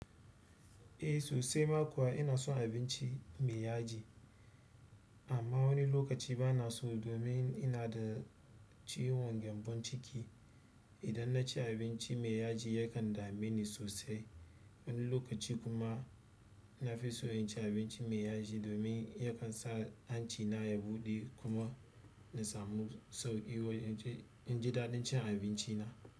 Eh sosai ma kuwa ina son abinci mai yaji, amma wani lokaci bana so domin ina da ciwon gyambon ciki. Idan naci abinci mai yaji yakan dame ni sosai. Wani lokaci kuma na fi so in ci abinci mai yaji domin yakan sa hanci na ya buɗe kuma na samu sauƙi wai in ji in ji daɗin cin abinci na.